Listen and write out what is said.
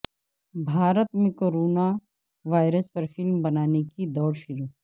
بھارت میں corona virus پر film بنانے کی دوڑ شروع